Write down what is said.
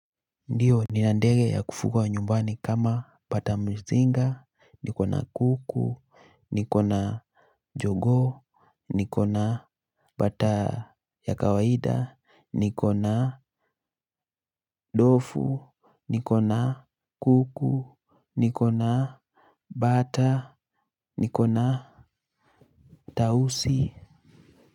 Ndiyo nina ndege ya kufuga wa nyumbani kama, bata mzinga, niko na kuku, niko na jogoo, niko na bata ya kawaida, niko na dofu, niko na kuku, niko na bata, niko na tausi.